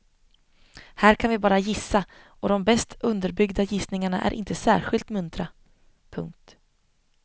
Här kan vi bara gissa och de bäst underbyggda gissningarna är inte särskilt muntra. punkt